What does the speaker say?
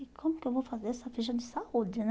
E como que eu vou fazer essa ficha de saúde, né?